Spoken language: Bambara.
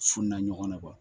Funna ɲɔgɔnna